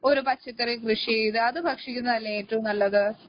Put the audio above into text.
ഒരു പച്ചക്കറി കൃഷിചെയ്ത് അത് ഭക്ഷിക്കുന്നതല്ലെ ഏറ്റവും നല്ലത്